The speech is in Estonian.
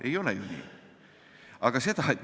Ei ole ju nii!